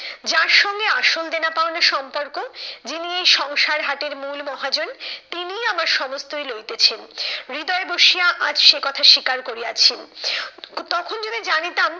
যার সঙ্গে আসল দেনা পাওনার সম্পর্ক যিনি এই সংসার হাটের মূল মহাজন তিনিই আমার সমস্তই লইতেছেন। হৃদয়ে বসিয়া আজ সে কথা স্বীকার করিয়াছি। তখন যদি জানিতাম,